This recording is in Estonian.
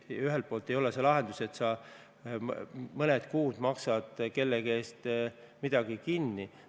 Aga see ei ole lahendus, et sa mõned kuud maksad kellegi eest midagi kinni.